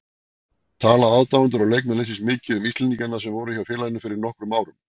Tala aðdáendur og leikmenn liðsins mikið um íslendingana sem voru hjá félaginu fyrir nokkrum árum?